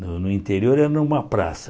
No no interior era uma praça.